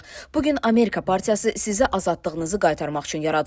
Bu gün Amerika partiyası sizə azadlığınızı qaytarmaq üçün yaradıldı.